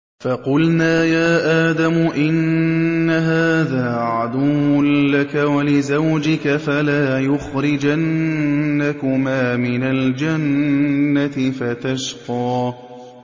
فَقُلْنَا يَا آدَمُ إِنَّ هَٰذَا عَدُوٌّ لَّكَ وَلِزَوْجِكَ فَلَا يُخْرِجَنَّكُمَا مِنَ الْجَنَّةِ فَتَشْقَىٰ